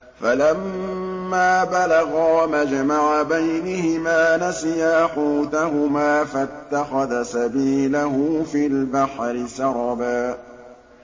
فَلَمَّا بَلَغَا مَجْمَعَ بَيْنِهِمَا نَسِيَا حُوتَهُمَا فَاتَّخَذَ سَبِيلَهُ فِي الْبَحْرِ سَرَبًا